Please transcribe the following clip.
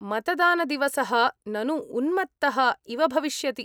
मतदानदिवसः ननु उन्मत्तः इव भविष्यति।